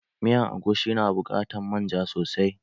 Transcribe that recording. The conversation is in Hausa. Miyan agushi na buƙatan manja sosai.